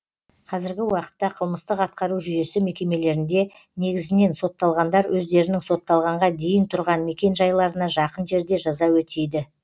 қазіргі уақытта қылмыстық атқару жүйесі мекемелерінде негізінен сотталғандар өздерінің сотталғанға дейін тұрған мекенжайларына жақын жерде жаза өтейді